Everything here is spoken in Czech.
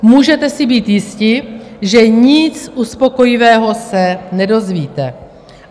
Můžete si být jisti, že nic uspokojivého se nedozvíte.